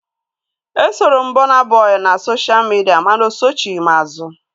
Esoro m Burna Boy na sosha midia mana osochighi m azu